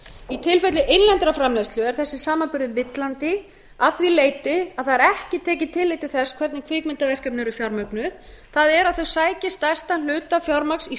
í tilfelli innlendrar framleiðslu er þessi samanburður villandi að því leyti að það er ekki tekið tillit til þess hvernig kvikmyndverkefni eru fjármögnuð það er að þau sæki stærstan hluta fjármagns í